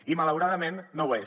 i malauradament no ho és